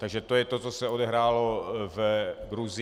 Takže to je to, co se odehrálo v Gruzii.